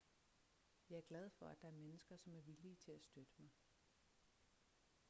jeg er glad for at der er mennesker som er villige til at støtte mig